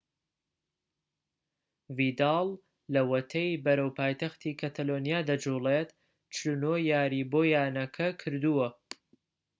ڤیداڵ لەوەتەی بەرەو پایتەختی کەتەلۆنیا دەجوڵێت 49 یاریی بۆ یانەکە کردووە